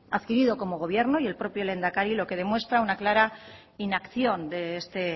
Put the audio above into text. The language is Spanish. adquirido como gobierno y el propio lehendakari lo que demuestra es una clara inacción de este